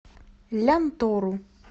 лянтору